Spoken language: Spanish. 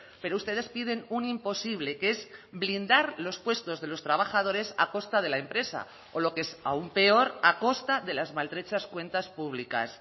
pero ustedes piden un imposible que es blindar los puestos de los trabajadores a costa de la empresa o lo que es aún peor a costa de las maltrechas cuentas públicas